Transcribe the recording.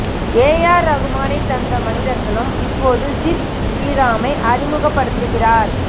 ஏ R ரஹ்மானை தந்த மணிரத்னம் இப்போது சித் ஸ்ரீராமை அறிமுக படுத்திக்கிறார்